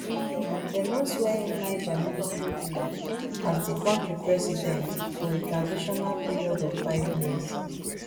dem don swear in niger military ruler as di kontri president for a transitional period of five years